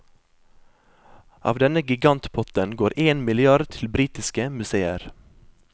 Av denne gigantpotten går én milliard til britiske museer.